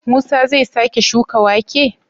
Musa zai sake shuka wake?